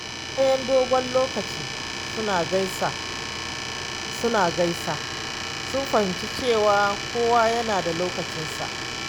Bayan dogon lokaci suna gasa, sun fahimci cewa kowa yana da lokacinsa.